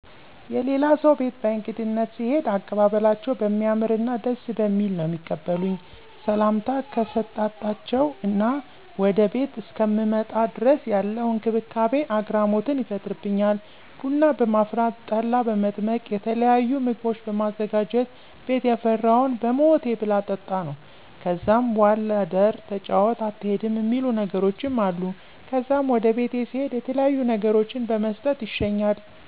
የላሌ ሰው ቤት በእግድነት ስሄድ አቀባበላቸው በሚያምርና ደስ በሚል ነው ሚቀበሉኝ። ሰምታ ከሰጣጣቸው እስከ ወደ ቤቴ እስከምመጣ ድረስ ያለው እክብካቤ አግራሞትን ይፈጥርበኛል። ቡና በማፍላት፣ ጠላ በመጥመቅ የተለያዩ ምግቦችን በማዘጋጀት ቤት የፈራውን በሞቴ ብላ ጠጣ ነው። ከዛም ዋል እደር ተጫወት አትሄድም እሚሉ ነገሮችም አሉ። ከዛም ወደ ቤቴ ስሄድ የተለያዩ ነገሮችን በመስጠት ይሸኛል።